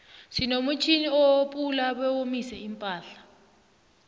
sinomutjnini opula bewomise iimpahla